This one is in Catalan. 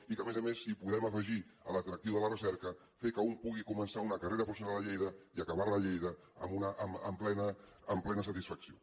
i que a més hi podem afegir l’atractiu de la recerca fer que un pugui començar una carrera professional a lleida i acabar la a lleida amb plena satisfacció